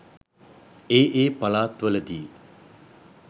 ඒ ඒ පළාත්වල දී